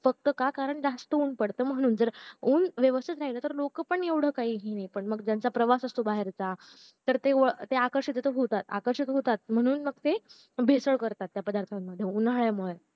फक्त का तर जास्त ऊन पडत म्हणून ऊन व्यवस्तीत राहील तर लोक पण एवढं काही हे नाही पण ज्यांचा प्रवास असतो बाहेर चा तर ते आकर्षिक होता आकर्षिक होता म्हणून मग ते भेसळ करता त्या पदार्थांमध्ये उन्हाळ्यामुळे